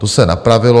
To se napravilo.